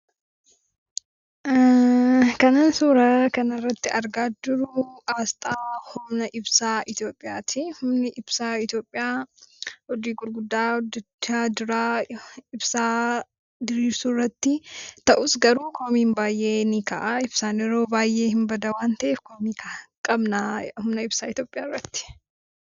Kanan suuraa kana irratti argaa jiru aasxaa humna ibsaa Itoophiyaati. Humni ibsaa Itoophiyaa hojii gurguddaa hojjechaa jira ibsaa diriirsuu irratti. Ta'us garuu komiin baay'een ni ka'a. Ibsaan yeroo baay'ee nibada waan ta'eef komii qabna humna ibsaa Itoophiyaa irratti.